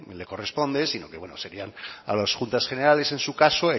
le corresponde sino que bueno serían a las juntas generales en su caso